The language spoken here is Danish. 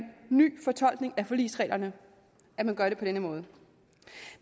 ny fortolkning af forligsreglerne at man gør det på denne måde